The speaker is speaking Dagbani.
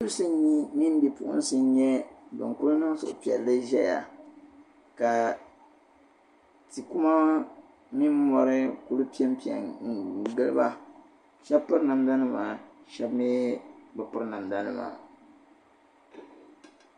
Bi'dibisi mini bi'puɣinsi n-kuli nyɛ ban niŋ suhupiɛlli zaya ka ti'kuma mini mɔri kuli pen pe n-gili ba shɛba piri namdanima shɛba mii be piri namdanima.